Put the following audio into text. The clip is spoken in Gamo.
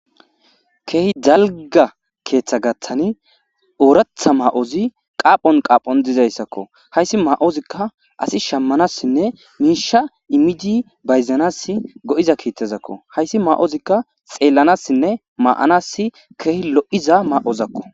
Keehi jalga keeththa gaththani ooratha maa'ozi qaaphon qaaphon dizayssakko hayssi ma'ozikka asi shammanassinne miisha imidi bayzanas go'iza kiittezakko hayssi ma'ozikka xeellanassinne maa'anas keehi lo'iza maa'ozakko.